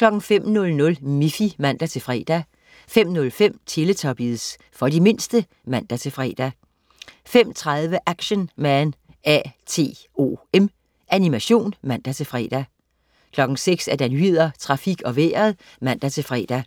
05.00 Miffy (man-fre) 05.05 Teletubbies. For de mindste (man-fre) 05.30 Action Man A.T.O.M. Animation (man-fre) 06.00 Nyhederne, Trafik og Vejret (man-fre)